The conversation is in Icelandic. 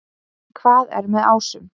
Hvað er með ásum?